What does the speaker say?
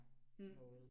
Ja